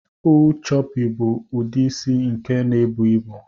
Full choopy bu udi isi nke na ebu ibu.